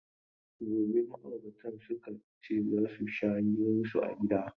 Gobe ma'auratan suka ce za su sha hiran su a gida.